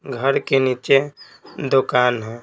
घर के नीचे दुकान है।